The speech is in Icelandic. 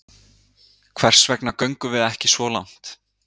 Hvers vegna göngum við ekki svo langt?